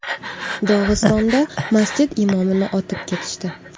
Dog‘istonda masjid imomini otib ketishdi.